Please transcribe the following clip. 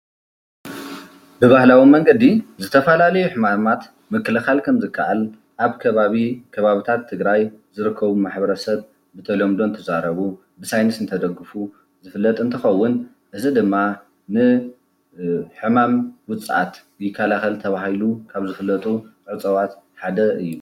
ብብሃላዊ መንገዲ ዝተፈላለየ ሕማማት ምክልካል ከም ዝካኣል ኣብ ከባቢ ከባቢታት ትግራይ ዝርከቡ ማሕበረሰብ ብተለምዶ እንትዛረቡ ብሳይነስ እንተደጉፉ ዝፍለጥ እንትኸውን እዚ ድማ ንሕማም ውፃኣት ይካላኸል ተበሂሉ ካብ ዝፍለጡ እፅዋት ሓደ እዩ።